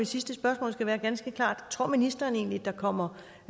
sidste spørgsmål skal være ganske klart tror ministeren egentlig at der kommer